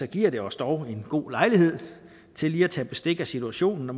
giver det os dog en god lejlighed til lige at tage bestik af situationen og